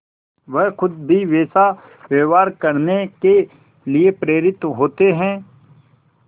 वह खुद भी वैसा व्यवहार करने के लिए प्रेरित होते हैं